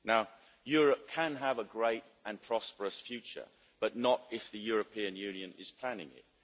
Now, Europe can have a great and prosperous future, but not if the European Union is planning it.